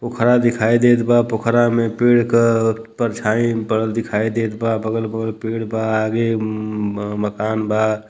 पोखरा दिखाय देत बा पोखरा में पेड़ क परछाई पड़ल दिखाइ देतबा बगल बगल पेड़ बा आगे उ म म मकान बा।